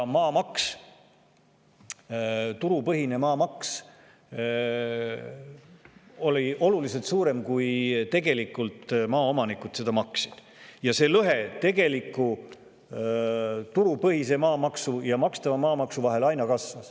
Maamaks, turupõhine maamaks oli oluliselt suurem, kui tegelikult maaomanikud seda maksid, ja lõhe tegeliku turupõhise maamaksu ja makstava maamaksu vahel aina kasvas.